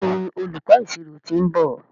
Béèni olùkó ìṣirò t'in nbọ.